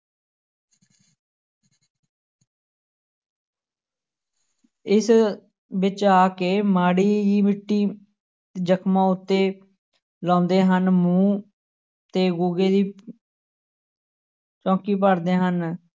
ਇਸ ਵਿੱਚ ਆ ਕੇ ਮਾੜੀ ਮਿੱਟੀ ਜਖ਼ਮਾਂ ਉੱਤੇ ਲਾਉਂਦੇ ਹਨ, ਮੂੰਹ ਤੇ ਗੁੱਗੇ ਦੀ ਚੌਂਕੀ ਭਰਦੇ ਹਨ।